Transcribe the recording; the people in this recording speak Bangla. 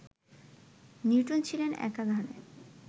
নিউটন ছিলেন একাধারে